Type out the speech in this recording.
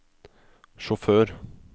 sjåfør